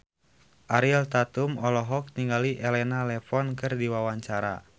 Ariel Tatum olohok ningali Elena Levon keur diwawancara